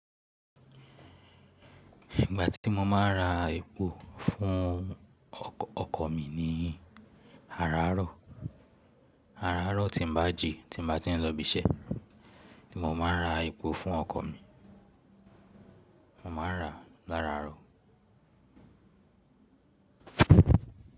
Ìgbà tí mo máa ń ra epo fún ọkọ̀ mi ni àràárọ̀, àràárọ̀ tí n bá ji, tí n bá ti ń lọ ibi iṣẹ́ ní mo máa ń ra epo fún ọkọ̀ mi, mo máa ń rà láràárọ̀.